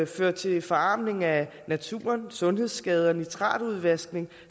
fører til forarmelse af naturen sundhedsskader nitratudvaskning